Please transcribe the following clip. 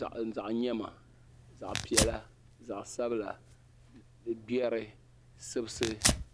zaɣa yɛma zaɣa piɛlla zaɣa sabila gbɛri sibisi.